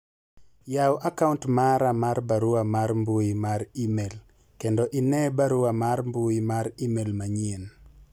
yawu akaunt mara mar barua mar mbui mar email kendo ine barua mar mbui mar email manyien